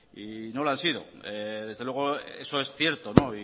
y no lo han sido desde luego eso es cierto y